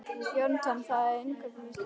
Jónatan, hvað er á innkaupalistanum mínum?